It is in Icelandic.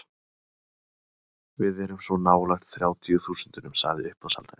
Við erum svo nálægt þrjátíu þúsundunum, sagði uppboðshaldarinn.